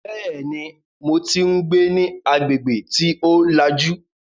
Bẹ́ẹ̀ni, mo tí ń gbé ní agbègbè tí ó lajú